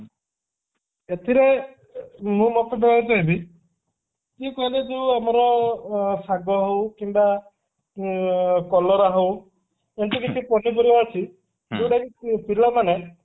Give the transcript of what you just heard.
ଏଥିରେ ମୁଁ ମତ ଦେବାକୁ କହିବି ସେଇ କହିଲେ ଯୋଉ ଆମର ଶାଗ ହଉ କିମ୍ବା ଊ କଲରା ହଉ ଏମିତି କିଛି ପନିପରିବା ଅଛି ଯୋଉଟା କି ପିଲାମାନେ